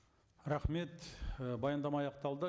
рахмет і баяндама аяқталды